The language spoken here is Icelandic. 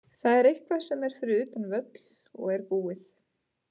Það er eitthvað sem er fyrir utan völl og er búið.